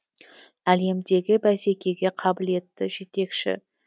әлемдегі бәсекеге қабілетті жетекші